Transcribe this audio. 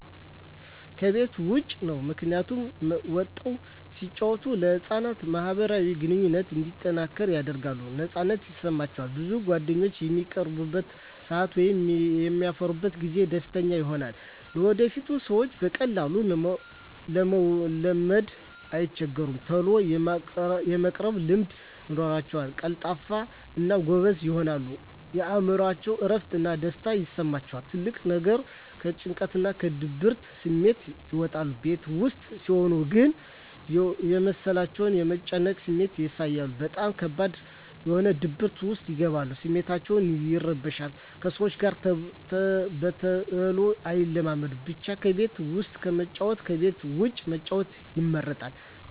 ከቤት ዉጭ ነዉ ምክንያቱም ወጠዉ ሲጫወቱ ለህፃናት ማህበራዊ ግንኙነቶች እንዲጠናከር ያደርጋል ነፃነት ይሰማቸዋል ብዙ ጓደኛም በሚቀርቡበት ሰአት ወይም በሚያፈሩበት ጊዜ ደስተኛ ይሆናሉ ለወደፊቱ ሰዎችን በቀላሉ ለመልመድ አይቸገሩም ተሎ የመቀራረብ ልምድ ይኖራቸዉል ቀልጣፋ እና ጎበዝም ይሆናሉ የእምሮአቸዉ እረፍት እና ደስታ ይሰማቸዋል ትልቁ ነገር ከጭንቀትና ከድብርት ስሜት ይወጣሉ ቤት ዉስጥ ሲሆን ግን የመሰላቸት የመጨነቅ ስሜት ያሳያሉ በጣም ከባድ በሆነ ድብርት ዉስጥ ይገባሉ ስሜታቸዉ ይረበሻል ከሰዎች ጋር በተሎ አይላመዱም ብቻ ከቤት ዉስጥ ከመጫወት ከቤት ዉጭ መጫወት ይመረጣል